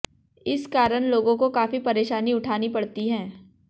इस कारण लोगों को काफी परेशानी उठानी पड़ती है